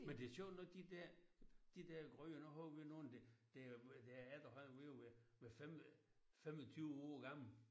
Men det sjovt nok de der de der gryder nu har vi nogen der er der er der er efterhånden ved at være 5 25 år gamle